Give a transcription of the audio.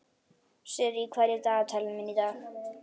Sirrí, hvað er í dagatalinu mínu í dag?